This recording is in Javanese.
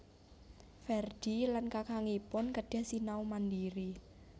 Ferdi lan kakangipun kedah sinau mandiri